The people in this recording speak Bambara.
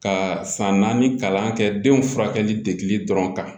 Ka san naani kalan kɛ denw furakɛli de dɔrɔn kan